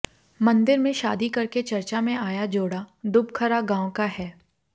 मंदिर में शादी करके चर्चा में आया जोड़ा दुबखरा गांव का है